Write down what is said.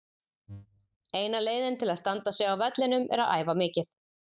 Eina leiðin til að standa sig á vellinum er að æfa mikið.